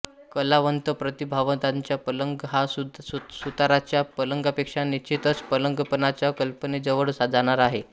कलावंतप्रतिभावंताचा पलंग हा सुताराच्या पलंगापेक्षा निश्चितच पलंगपणाच्या कल्पनेजवळ जाणारा आहे